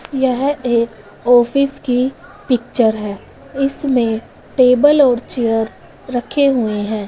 यह एक ऑफिस की पिक्चर है इसमें टेबल और चेयर रखे हुए हैं।